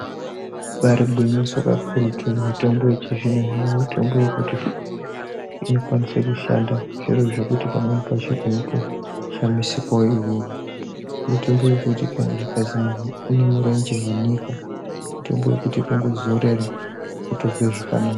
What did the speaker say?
Ibari gwinyiso kakuru mitombo yechizvinozvino mitombo yekuti inokwanise kushanda zviro zvekuti pamweni pacho unotoshamisikawo iwewe mitombo yekuti kana muntu akanzi ane mirenje wanika mitombo yekuti kungozorera wotonzwa zvakanaka .